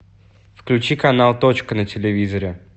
включи канал точка на телевизоре